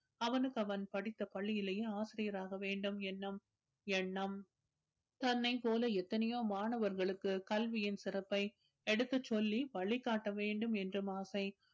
அவனுக்கு அவன் படித்த பள்ளியிலேயே ஆசிரியராக வேண்டும் என்னும் எண்ணம். தன்னைப் போல எத்தனையோ மாணவர்களுக்கு கல்வியின் சிறப்பை எடுத்துச் சொல்லி வழிகாட்ட வேண்டும் என்றும் ஆசை